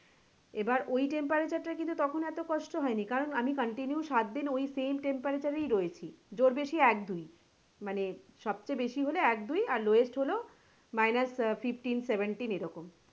এবার ওই temperature টা কিন্তু তখন এতো কষ্ট হয়নি কারন আমি continue সাত দিন ওই same temperature এই রয়েছি জ্বর বেশি এক দুই মানে সব চেয়ে বেশি হলে এক দুই আর lowest হলো minus fifteen seventeen এরকম।